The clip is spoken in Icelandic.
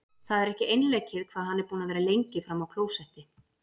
Það er ekki einleikið hvað hann er búinn að vera lengi frammi á klósetti!